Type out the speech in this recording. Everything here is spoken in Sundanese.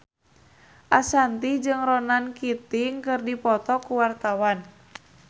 Ashanti jeung Ronan Keating keur dipoto ku wartawan